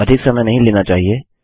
यह अधिक समय नहीं लेना चाहिए